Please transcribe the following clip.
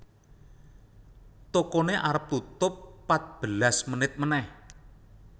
Tokone arep tutup patbelas menit meneh